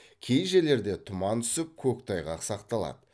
кей жерлерде тұман түсіп көктайғақ сақталады